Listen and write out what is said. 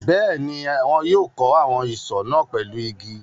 Bẹ́ẹ̀ ni, wọn yóò kó àwọn isọ̀ náà pẹ̀lú igi.